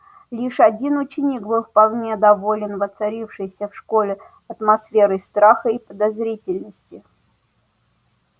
лишь один ученик был вполне доволен воцарившейся в школе атмосферой страха и подозрительности